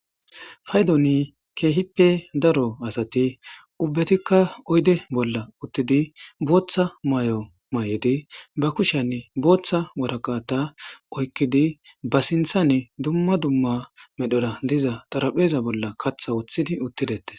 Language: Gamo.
Paydoni keehippe daro asati ubbetikka oyde bolla uttidi booththa may7o may7edi ba kushanne booththa waraqata oykkidi ba sinthane dumma dumma medhora diza tarapheeza bolla katha wuththidi uttidete